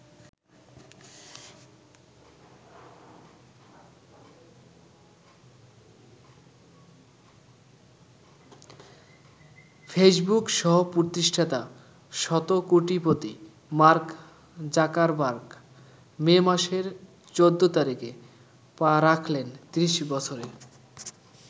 Facebook সহ-প্রতিষ্ঠাতা শতকোটিপতি Mark Zuckerberg May মাসের ১৪ তারিখে পা রাখলেন ত্রিশ বছরে।